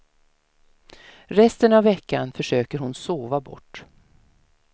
Resten av veckan försöker hon sova bort.